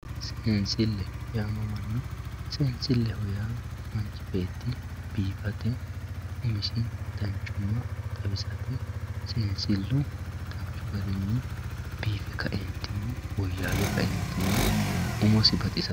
Seensile yaamamano seensile yaa manchi beeti bifawore umisini danchumate xawisate danchu garini seensilu danchu garini umosi xawisano yaate